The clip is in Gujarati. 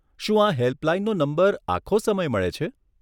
શું આ હેલ્પલાઈનનો નંબર આખો સમય મળે છે?